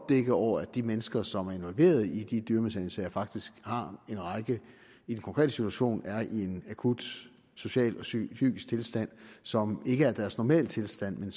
dække over at de mennesker som er involveret i de dyremishandlingssager faktisk i de konkrete situationer er i en akut social og psykisk tilstand som ikke er deres normaltilstand